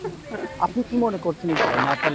আপনি কি মোনে করছেন এই ব্যাপারে ?